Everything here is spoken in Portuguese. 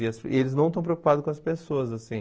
E as e eles não estão preocupados com as pessoas, assim.